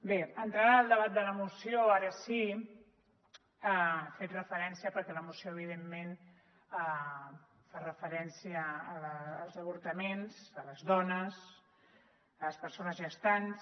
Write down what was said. bé entrant en el debat de la moció ara sí ha fet referència perquè la moció evi·dentment fa referència als avortaments a les dones a les persones gestants